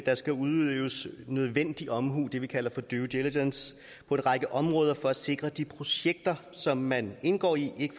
der skal udøves nødvendig omhu det vi kalder for due diligence på en række områder for at sikre at de projekter som man indgår i ikke